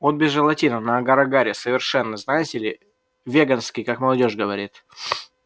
он без желатина на агар-агаре совершенно знаете ли веганский как молодёжь говорит